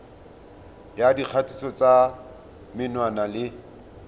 ya dikgatiso tsa menwana le